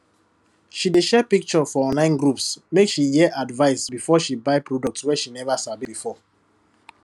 she dey share pictures for online groups make she hear advice before she buy product wey she never sabi before